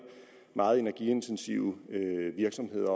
meget energiintensive virksomheder